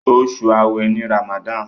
Osu aawe ní Ramadan.